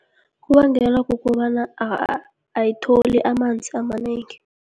Kubangelwa kukobana ayitholi amanzi amanengi.